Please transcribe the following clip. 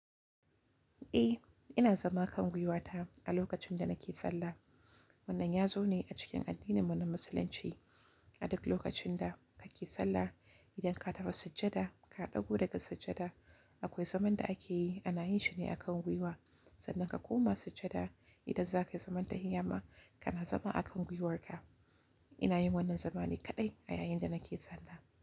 Eh, ina zama kan gwiwata a lokacin da nake sallah. Wannan yazo ne a cikin addinin mu na Musulunci. A duk lokacin da kake sallah, idan ka tafi sujjada, ka ɗagu daga sujjada, akwai zaman da akeyi ana yin shi ne a kan gwiwa. Sannan ka koma sujjada, idan zakayi zaman tahiyama kana zama a kan gwiwarka. Ina yin wannan zamani kaɗai a yayin da nake sallah.